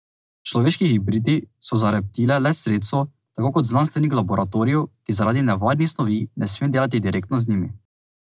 Človeški hibridi so za reptile le sredstvo, tako kot znanstvenik v laboratoriju, ki zaradi nevarnih snovi ne sme delati direktno z njimi.